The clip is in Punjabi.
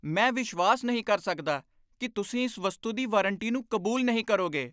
ਮੈਂ ਵਿਸ਼ਵਾਸ ਨਹੀਂ ਕਰ ਸਕਦਾ ਕਿ ਤੁਸੀਂ ਇਸ ਵਸਤੂ ਦੀ ਵਾਰੰਟੀ ਨੂੰ ਕਬੂਲ ਨਹੀਂ ਕਰੋਗੇ।